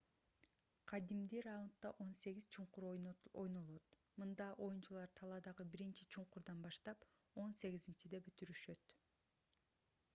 кадимди раундда он сегиз чуңкур ойнолот мында оюнчулар талаадагы биринчи чуңкурдан баштап он сегизинчиде бүтүрүшөт